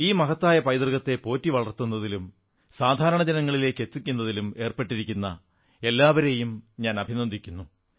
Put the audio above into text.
ഈ മഹത്തായ പൈതൃകത്തെ പോറ്റി വളർത്തുന്നതിലും സാധാരണ ജനങ്ങളിലെത്തിക്കുന്നതിലും ഏർപ്പെട്ടിരിക്കുന്ന എല്ലാവരെയും ഞാൻ അഭിനന്ദിക്കുന്നു